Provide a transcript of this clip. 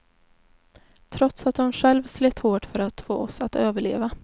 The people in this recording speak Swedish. Trots att hon själv slet hårt för att få oss att överleva.